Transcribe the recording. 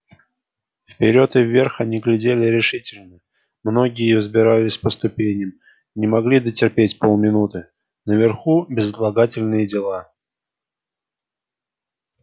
вперёд и вверх они глядели решительно многие взбирались по ступеням не могли дотерпеть полминуты наверху безотлагательные дела